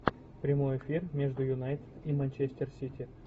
прямой эфир между юнайтед и манчестер сити